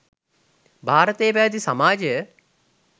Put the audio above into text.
භාරතයේ පැවැති සමාජය